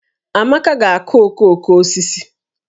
Amaka ga-akụ okooko osisi